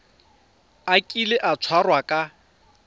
a kile a tshwarwa ka